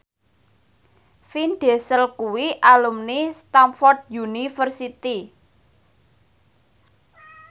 Vin Diesel kuwi alumni Stamford University